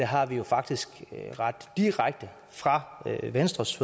har vi jo faktisk ret direkte fra venstres